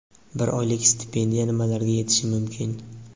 Bir oylik stipendiya nimalarga yetishi mumkin?.